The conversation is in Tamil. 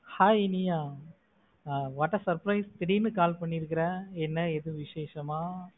Hai இனியா அஹ் what a surprise திடீர்னு call பண்ணி இருக்கிற. என்ன ஏதும் விசேஷமா?